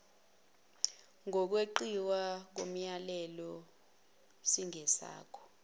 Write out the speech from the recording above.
kokweqiwa komyalelo singesakho